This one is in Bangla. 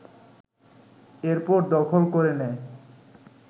এরপর দখল করে নেয়